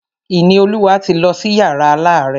Ìníolúwa ti lọ sí yàrá alárẹ̀.